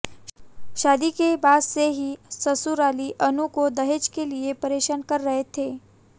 शादी के बाद से ही ससुराली अनु को दहेज के लिए परेशान कर रहे थे